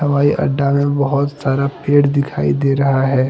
हवाई अड्डा में बहुत सारा पेड़ दिखाई दे रहा है।